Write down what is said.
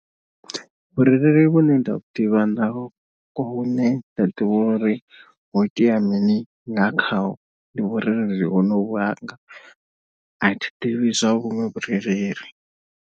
Vhurereli vhune nda vhu ḓivha nda vhune nda ḓivha uri ho itea mini nga khaho ndi vhurereli honovhu hanga, athi ḓivhi zwa vhuṅwe vhurereli.